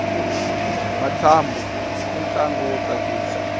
matsambu i ntlangu wo tsakisa